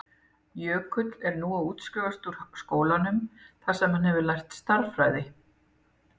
Jökull er nú að útskrifast úr skólanum þar sem hann hefur lært stærðfræði.